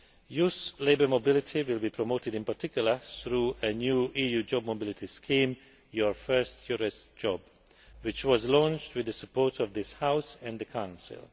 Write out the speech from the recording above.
Youth labour mobility will be promoted in particular through a new EU job mobility scheme, Your First EURES Job, which was launched with the support of this House and the Council.